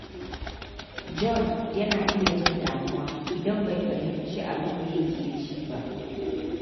John yana iya jin damuwa idan bai fahimci abin da yake ji ba.